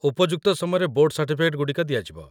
ଉପଯୁକ୍ତ ସମୟରେ board certificate ଗୁଡ଼ିକ ଦିଆଯିବ